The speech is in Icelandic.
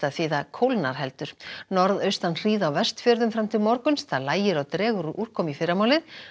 því það kólnar heldur norðaustan hríð á Vestfjörðum fram til morguns lægir og dregur úr úrkomu í fyrramálið